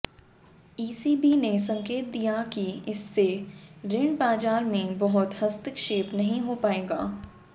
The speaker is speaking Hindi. ईसीबी ने संकेत दिया कि इससे रिण बाजार में बहुत हस्तक्षेप नहीं हो पाएगा